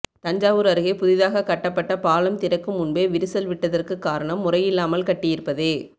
தஞ்சாவூர் அருகே புதிதாக கட்டப்பட்ட பாலம் திறக்கும் முன்பெ விரிசல் விட்டதிற்கு காரணம் முறையில்லாமல் கட்டியிருப்பதே